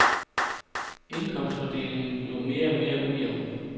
Indkomstfordelingen bliver mere og mere ujævn.